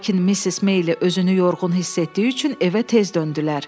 Lakin Missis Meyli özünü yorğun hiss etdiyi üçün evə tez döndülər.